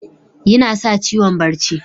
Yinasa ciwon barci.